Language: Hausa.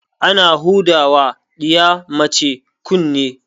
Ana huda ma ɗiya mace kunne